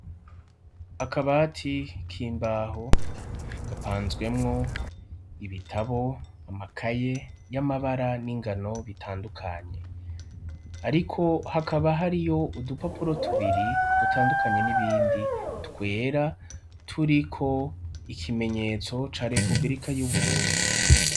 Akabati k'imbaho gapanzwemwo ibitabo, amakaye y'amabara n'ingano bitandukanye. Ariko hakaba hariyo udupapuro tubiri dutandukanye n'ibindi twera turiko ikimenyetso ca republika y'Uburundi.